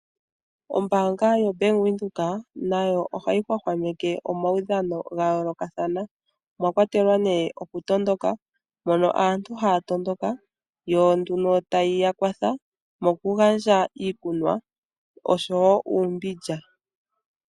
Ombaanga yoBank Windhoek nayo ohayi hwahwameke omaudhano gayoolokathana omwakwatelwa nee okutondoka, mono aantu haya tondoka yo tayi yakwatha mokugandja iikunwa oshowo uumbindja.